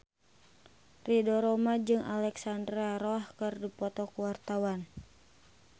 Ridho Roma jeung Alexandra Roach keur dipoto ku wartawan